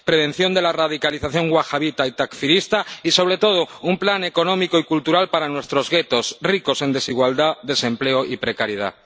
prevención de la radicalización wahabita y takfirista y, sobre todo, un plan económico y cultural para nuestros guetos, ricos en desigualdad desempleo y precariedad.